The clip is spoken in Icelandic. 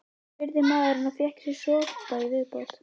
spurði maðurinn og fékk sér sopa í viðbót.